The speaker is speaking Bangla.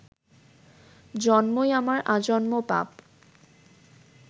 জন্মই আমার আজন্ম পাপ